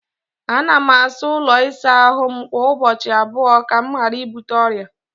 Ana m asa ụlọ ịsa ahụ m kwa ụbọchị abụọ ka m ghara ibute ọrịa.